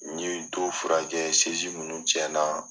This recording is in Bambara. N ye dow fura kɛ minnu tiɲɛ na